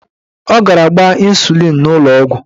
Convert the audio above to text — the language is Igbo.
Ọ gara gbaa ịnsulịn n'ụlọọgwụ.